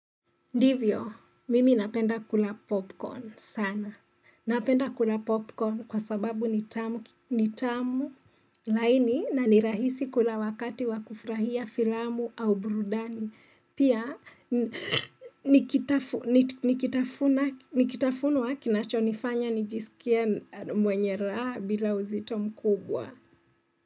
Ndivyo mimi napenda kula popcorn sana. Napenda kula popcorn kwa sababu ni tamu laini na ni rahisi kula wakati wa kufurahia filamu au burudani. Pia nikitafunu zinanifanya nijisikie mwenye raha bila uzito mkubwa.